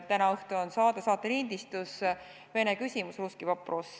Täna õhtu on saate lindistus "Vene küsimus" .